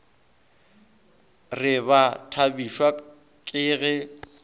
re ba thabišwa ke ge